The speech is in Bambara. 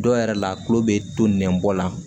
Dɔw yɛrɛ la kulo be to nɛn bɔ la